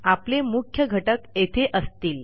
आपले मुख्य घटक येथे असतील